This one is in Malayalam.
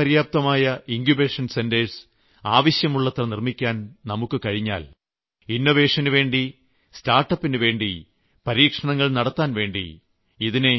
സ്വയം പര്യാപ്തമായ ഇങ്കുബേഷൻ സെന്ററുകൾ ആവശ്യമുള്ളത്ര നിർമ്മിക്കാൻ നമുക്ക് കഴിഞ്ഞാൽ ഇന്നോവേഷനുവേണ്ടി സ്റ്റാർട്ട്അപ്പിനുവേണ്ടി പരീക്ഷണങ്ങൾ നടത്താൻവേണ്ടി ഇതിനെ